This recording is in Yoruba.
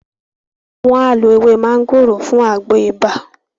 wọn á lo “ ewé máńgòrò” fún àgbo ibà.